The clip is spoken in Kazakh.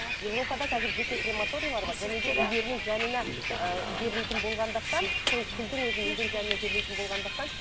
европада қазір жеке крематориялар бар және де үйлерінің жанына ыыы жерлейтін болғандықтан сол күлдің өзін үйдің жанына жерлейтін болғандықтан